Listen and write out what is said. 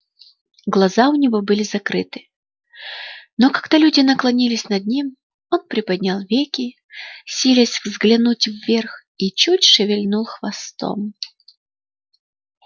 глаза у него были закрыты но когда люди наклонились над ним он приподнял веки силясь взглянуть вверх и чуть шевельнул хвостом